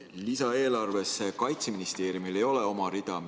Selles lisaeelarves ei ole Kaitseministeeriumil oma rida.